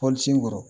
Pɔli sun kɔrɔ